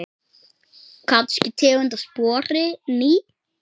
Kannski tegund af spori ný.